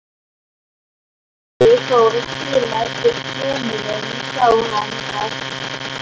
Þegar Finnur fór að skima eftir þjóninum sá hann að